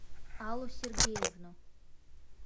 аллу сергеевну